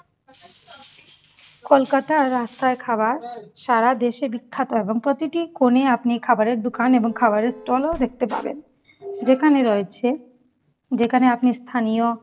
কলকাতার রাস্তার খাবার সাড়া দেশে বিখ্যাত এবং প্রতিটি কোণে আপনি খাবারের দোকান এবং খাবারের stall ও দেখতে পাবেন। দোকানে রয়েছে, যেখানে আপনি স্থানীয়